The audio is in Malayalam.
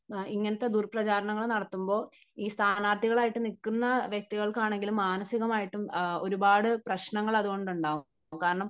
ഇങ്ങനത്തെ ദുർ പ്രചാരണങ്ങൾ നടത്തുമ്പോൾ ഈ സ്ഥാനാർത്ഥികൾ ആയിട്ട് നിൽക്കുന്ന വ്യക്തികൾക്ക് ആണെങ്കിലും മാനസികമായിട്ടും ഒരുപാട് പ്രശ്നങ്ങൾ അതുകൊണ്ട് ഉണ്ടാകും. കാരണം